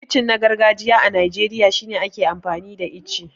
Kicin na gargajiya a Najeriya shine ake amfani da ice.